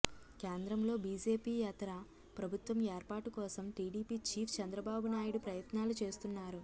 కేంద్రంలో బీజేపీయేతర ప్రభుత్వం ఏర్పాటు కోసం టీడీపీ చీఫ్ చంద్రబాబునాయుడు ప్రయత్నాలు చేస్తున్నారు